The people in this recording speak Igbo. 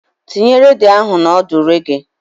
Tinye redio ahụ na ọdụ reggae.